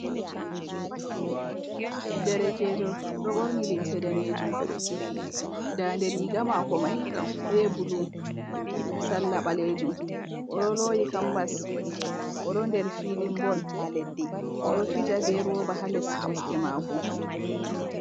Derekejor ɗo borni limse danejum ndande riga mako mai be bulu salla balejum odoloyi kambas o do der filin bol odo fija be roba ha les kosɗe mako.